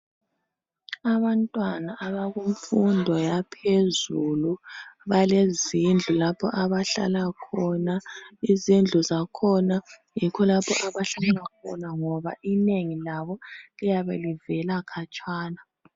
Abantwana abakumfundo yaphezulu balezindlu lapho abahlala khona ngoba inengi labo liyabe livela khatshana.